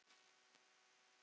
Og það hafa þeir átt.